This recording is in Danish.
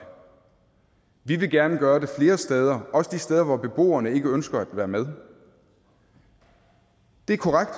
vi vil gerne gøre det flere steder også de steder hvor beboerne ikke ønsker at være med det er korrekt